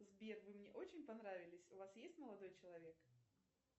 сбер вы мне очень понравились у вас есть молодой человек